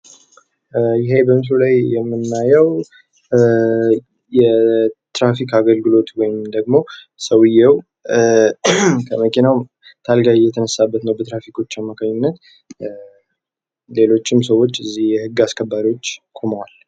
ይሄ በምስሉ ላይ የምናየው የትራፊክ አገልግሎት ወይም ደግሞ ሰውየው ከመኪናው ታርጋ እየተነሳበት ነው። በትራፊኮች አማካኝነት ሌሎችም ሰዎች እዚህ ህግ አስከባሪዎች ቁመዋል።